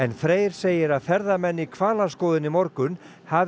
Freyr segir að ferðamenn í hvalaskoðun í morgun hafi